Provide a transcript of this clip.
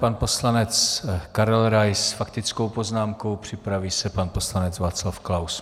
Pan poslanec Karel Rais s faktickou poznámkou, připraví se pan poslanec Václav Klaus.